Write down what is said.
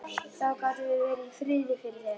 Þá gátum við verið í friði fyrir þér!